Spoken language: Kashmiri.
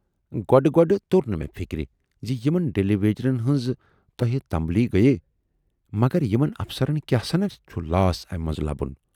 گۅڈٕ گۅڈٕ توٚر نہٕ مےٚ فِکرِ زِ یِمن ڈیلی ویجرن ہٕنز تۄہہِ تمبٕلۍ گٔییہِ، مگر یِمن افسرن کیاہ سنا چُھ لاس امہِ منزٕ لبُن۔